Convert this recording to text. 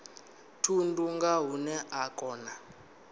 thundu nga hune a kona